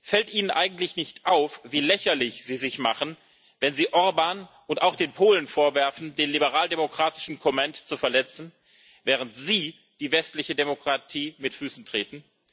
Fällt Ihnen eigentlich nicht auf, wie lächerlich Sie sich machen, wenn Sie Orbán und auch den Polen vorwerfen, den liberal demokratischen Comment zu verletzen, während Sie die westliche Demokratie mit Füßen treten?